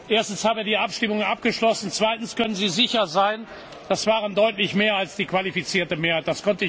Erstens haben wir die Abstimmung abgeschlossen und zweitens können Sie sicher sein, es waren deutlich mehr als die qualifizierte Mehrheit.